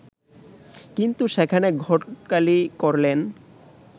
কিন্তু সেখানে ঘটকালি করলেন